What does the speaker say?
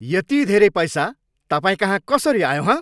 यति धेरै पैसा तपाईँकहाँ कसरी आयो हँ?